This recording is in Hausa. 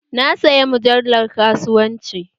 Na saya mujallar kasuwanci